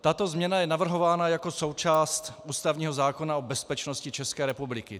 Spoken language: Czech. Tato změna je navrhována jako součást ústavního zákona o bezpečnosti České republiky.